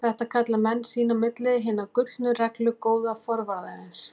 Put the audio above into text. Þetta kalla menn sín á milli Hina gullnu reglu góða forvarðarins.